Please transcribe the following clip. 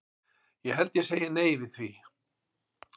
Ég held ég segi nei við því.